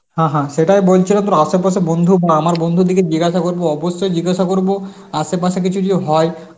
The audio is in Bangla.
হা হা সেটাও বলছিল তোর আশেপাশে বন্ধু বা আমার বন্ধুদিগের জিজ্ঞাসা করব অবশ্যই জিজ্ঞাসা করব আশেপাশে কিছু যদি হয়